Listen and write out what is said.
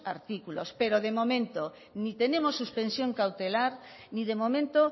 artículos pero de momento ni tenemos suspensión cautelar ni de momento